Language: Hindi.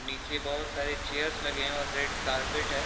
निचे बहुत सारी चेयरस लगे हैं और रेड कारपेट है।